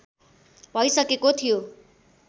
भइसकेको थियो